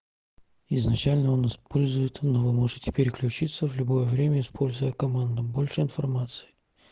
изначально он использует но вы можете переключиться в любое время используя команду больше информации